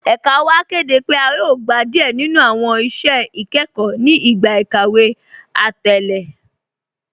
Ẹ̀kà wa kẹdẹ pe a yóò gbà díẹ ninu awọn iṣẹ̀ ikẹkọ ni igbá ikàwé atẹlẹ.